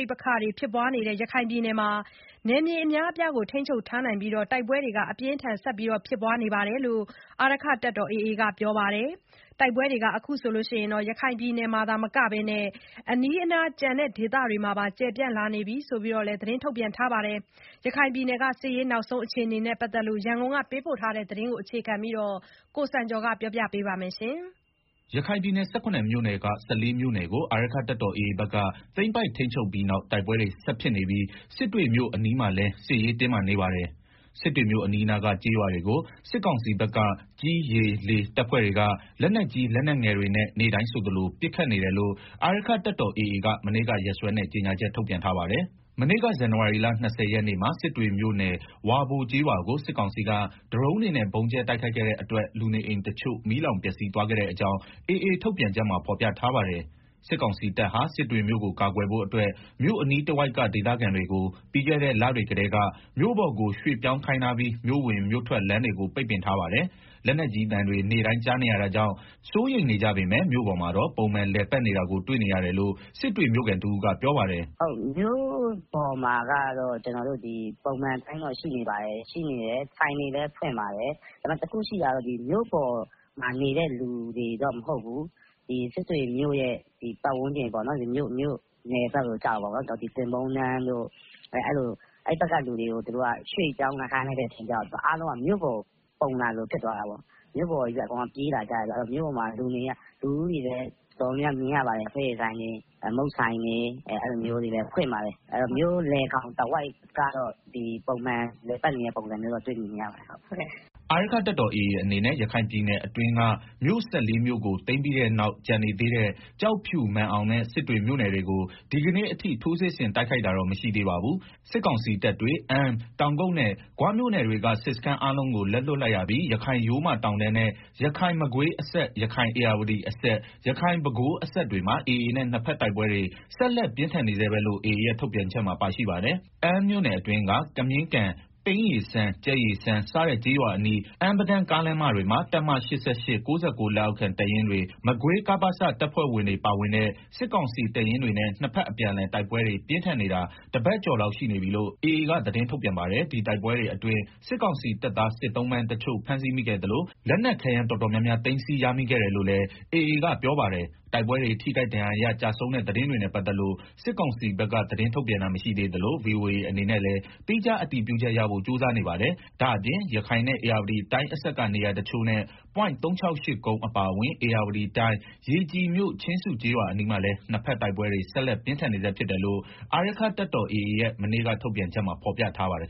ိပက္ခတွေ ဖြစ်ပွားနေတဲ့ ရခိုင်ပြည်နယ်မှာ နယ်မြေအများအပြားကို ထိန်းချုပ်ထားပြီး တိုက်ပွဲတွေ အပြင်းအထန် ဆက်လက်ဖြစ်ပွားနေတယ်လို့ အာရက္ခတပ်တော် AA အဖွဲ့က ပြောပါတယ်။ တိုက်ပွဲတွေဟာ အခုအခါ ရခိုင်ပြည်နယ်မှာ သာမက အနီးအနား ကျန်ဒေသတွေမှာပါ ကျယ်ပြန့်လာနေပြီလို့လည်း သတင်းထုတ်ပြန်ထားတာပါ။ ရခိုင်ပြည်နယ် စစ်ရေးနောက်ဆုံးအခြေအနေနဲ့ ပတ်သက်လို့ ရန်ကုန်က သတင်းပေးပို့ထားတာကို အခြေခံပြီး တင်ပြထားပါတယ်။ ရခိုင်ပြည်နယ် ၁၇ မြို့နယ်က ၁၄ မြို့နယ်ကို အာရက္ခတပ်တော် AA ဘက်က သိမ်းပိုက်ထိန်းချုပ်ပြီးနောက် တိုက်ပွဲတွေ ဆက်ဖြစ်နေပြီး စစ်တွေမြို့အနီးမှာလည်း စစ်ရေးတင်းမာနေပါတယ်။ စစ်တွေမြို့အနီးအနားက ကျေးရွာတွေကို စစ်ကောင်စီဘက်က ကြည်း၊ ရေ ၊လေ တပ်ဖွဲ့တွေက လက်နက်ကြီး လက်နက်ငယ်တွေ နဲ့ နေ့တိုင်းဆိုသလို ပစ်နေတယ်လို့ အာရက္ခတပ်တော် AA က မနေ့က ရက်စွဲနဲ့ ကြေညာချက် ထုတ်ပြန်ထားပါတယ်။ မနေ့က ဇန်နဝါရီလ ၂၀ ရက်နေ့မှာ စစ်တွေမြို့နယ် ဝါဘိုကျေးရွာကို စစ်ကောင်စီက ဒရုန်းတွေနဲ့ ဗုံးကြဲ တိုက်ခိုက်ခဲ့တဲ့အတွက် လူနေအိမ်တချို့ မီးလောင်ပျက်စီးသွားခဲ့တဲ့အကြောင်း AA ထုတ်ပြန်ချက်မှာ ဖော်ပြထား ပါတယ်။ စစ်ကောင်စီတပ်ဟာ စစ်တွေမြို့ကို ကာကွယ်ဖို့အတွက် မြို့အနီးတဝိုက်က ဒေသခံတွေကို ပြီးခဲ့တဲ့ လတွေကတည်းက မြို့ပေါ်ကို ရွှေ့ပြောင်းခိုင်းထားပြီး မြို့ဝင်မြို့ထွက် လမ်းတွေ ကို ပိတ်ပင်ထားပါတယ်။ လက်နက်ကြီးတွေ သံတွေ နေ့တိုင်းကြားနေရတာကြောင့် စိုးရိမ်နေကြပေမယ့် မြို့ပေါ်မှာတော့ ပုံမှန်လည်ပတ်နေတာကို တွေ့ရတယ်လို့ စစ်တွေ မြို့ခံတဦးက ပြောပါတယ်။ “မြို့ပေါ်မှာကတော့ ပုံမှန်အတိုင်းတော့ ရှိနေပါတယ်၊ဆိုင်တွေလည်း ဖွင့်ပါတယ်၊ ဒါပေမယ့် တခုရှိတာ ကတော့ မြို့ပေါ်မှာနေတဲ့ လူတွေတော့ မဟုတ်ဘူး စစ်တွေမြို့ ပတ်ဝန်းကျင်က သင်ပုန်းတန်းတို့ အဲဘက်က လူတွေကို သူတို့က ရွှေ့ပြောင်းခိုင်းလိုက်တော့ အားလုံးက မြို့ပေါ်ကို ပုံလာသလို တော့ ဖြစ်သွားတာပေါ့။ မြို့ပေါ်ပဲ အကုန်လုံးက ပြေးလာကြတော့ လူတွေလည်း မြို့ပေါ်မှာ တော်တော် များများမြင်ရပါတယ်။ လက်ဖက်ရည်ဆိုင်တွေ မုန့်ဆိုင်တွေလည်း ဖွင့်ပါတယ် ဆိုတော့ မြို့လယ် ကောင် တဝိုက်ကတော့ ပုံမှန်လည်ပတ်နေတဲ့ ပုံစံတော့ တွေ့မြင်နေရပါတယ်။” အာရက္ခတပ်တော် AA အနေနဲ့ ရခိုင်ပြည်နယ်အတွင်းက မြို့ ၁၄ မြို့ကို သိမ်ပြီးတဲ့နောက် ကျန်နေသေးတဲ့ ကျောက်ဖြူ မာန်အောင်နဲ့ စစ်တွေမြို့နယ်တွေကို ဒီကနေ့အထိ ထိုးစစ်ဆင်တိုက်ခိုက်တာတော့ မရှိသေးပါဘူး။ စစ်ကောင်စီတပ်တွေ အမ်း တောင်ကုတ်နဲ့ ဂွမြို့နယ်တွေကစစ်စခန်းအားလုံးကို လက်လွတ်လိုက် ရပြီး ရခိုင်ရိုးမတောင်တန်းနဲ့ ရခိုင်-မကွေးအစပ်၊ ရခိုင်-ဧရာဝတီအစပ် ၊ ရခိုင်- ပဲခူး အစပ်တွေမှာ AA နဲ့ နှစ်ဘက်တိုက်ပွဲတွေ ဆက်လက်ပြင်းထန်နေဆဲပဲလို့ AA ရဲ့ ထုတ်ပြန်ချက်မှာ ပါရှိပါတယ်။ အမ်းမြို့နယ်အတွင်းက ကမြင်းကန်၊ ပိန်းရေစမ်း၊ ကြက်ရေစမ်းစတဲ့ ကျေးရွာအနီး အမ်း-ပဒန်း ကားမတွေမှာ တပ်မ (၈၈)၊ (၉၉) လက်အောက်ခံ တပ်ရင်းတွေ မကွေး ကပစ တပ်ဖွဲ့ဝင်တွေ ပါဝင်တဲ့ စစ်ကောင်စီတပ်ရင်းတွေနဲ့ နှစ်ဘက်အပြန်အလှန် တိုက်ပွဲတွေ ပြင်းထန်နေတာ တပတ်ကျော်လောက်ရှိနေပြီလို့ AA က သတင်းထုတ်ပြန်ပါတယ်။ ဒီတိုက်ပွဲတွေ အတွင်း စစ်ကောင်စီ တပ်သား စစ်သုံ့ပန်းတချို့ဖမ်းဆီးမိခဲ့သလို လက်နက်ခဲယမ်းတော်တော်များများ သိမ်းစည်းရမိခဲ့ တယ်လို့လည်း AA က ပြောပါတယ်။ တိုက်ပွဲတွေ ထိခိုက်ဒဏ်ရာရ ကျဆုံးတဲ့ သတင်းတွေနဲ့ ပတ်သက်လို့ စစ်ကောင်စီဘက်က သတင်းထုတ်ပြန်တာ မရှိသေးသလို VOA အနေနဲ့လည်း သီးခြား အတည်ပြုချက်ရဖို့ ကြိုးစားနေပါတယ်။ ဒါ့အပြင် ရခိုင်နဲ့ ဧရာဝတီတိုင်း အစပ်က နေရာတချို့နဲ့ ပွိုင့် (၃၆၈) ကုန်း အပါအဝင် ဧရာဝတီတိုင်း ရေကြည်မြို့ ချင်းစုကျေးရွာအနီးမှာလည်း နှစ်ဘက်တိုက်ပွဲတွေဆက်လက် ပြင်းထန် နေဆဲဖြစ်တယ်လို့ အာရက္ခတပ်တော် AA ရဲ့ မနေ့က ထုတ်ပြတ်ချက်မှာ ဖော်ပြထားပါတယ်